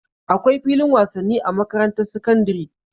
Akwai filin wasan ni a makarantar sakandari